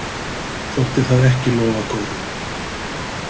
Þótti það ekki lofa góðu.